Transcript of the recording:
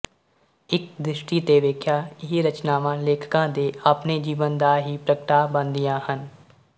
ਇੱਕ ਦ੍ਰਿਸ਼ਟੀ ਤੇ ਵੇਖਿਆ ਇਹ ਰਚਨਾਵਾਂ ਲੇਖਕਾ ਦੇ ਆਪਣੇ ਜੀਵਨ ਦਾ ਹੀ ਪ੍ਰਗਟਾ ਬਣਦੀਆਂ ਹਨ